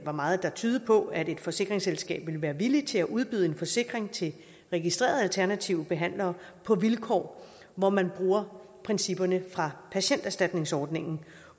var meget der tydede på at et forsikringsselskab ville være villig til at udbyde en forsikring til registrerede alternative behandlere på vilkår hvor man bruger principperne fra patienterstatningsordningen